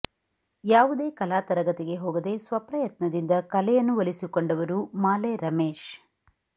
ಯಾವುದೇ ಕಲಾ ತರಗತಿಗೆ ಹೋಗದೆ ಸ್ವಪ್ರಯತ್ನದಿಂದ ಕಲೆಯನ್ನು ಒಲಿಸಿಕೊಂಡವರು ಮಾಲೆ ರಮೇಶ್